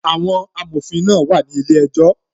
Àwọn amòfin náà wà ní ilé ejọ́